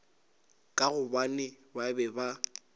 ka gobane ba be ba